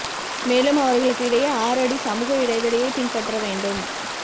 மேலும் அவர்களுக்கு இடையே ஆறு அடி சமூக இடைவெளியை பின்பற்ற வேண்டும்